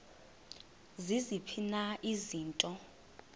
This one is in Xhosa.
ziziphi na izinto